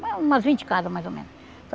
Mas umas vinte casas, mais ou menos.